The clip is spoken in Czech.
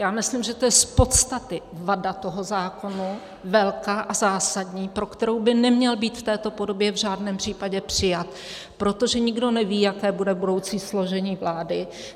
Já myslím, že to je z podstaty vada toho zákona, velká a zásadní, pro kterou by neměl být v této podobě v žádném případě přijat, protože nikdo neví, jaké bude budoucí složení vlády.